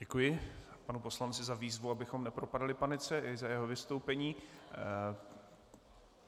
Děkuji panu poslanci za výzvu, abychom nepropadali panice, i za jeho vystoupení.